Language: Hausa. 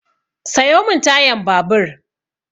Sayo min tayan babur!